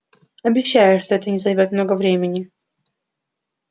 обещаю что это не займёт много времени